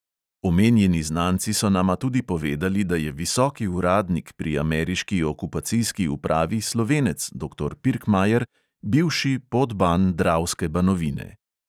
Omenjeni znanci so nama tudi povedali, da je visoki uradnik pri ameriški okupacijski upravi slovenec, doktor pirkmajer, bivši podban dravske banovine.